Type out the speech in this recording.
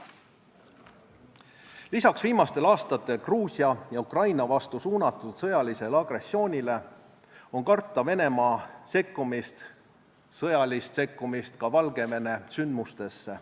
Lisaks viimastel aastatel Gruusia ja Ukraina vastu suunatud sõjalisele agressioonile on karta Venemaa sõjalist sekkumist ka Valgevene sündmustesse.